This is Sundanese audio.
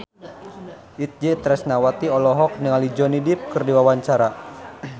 Itje Tresnawati olohok ningali Johnny Depp keur diwawancara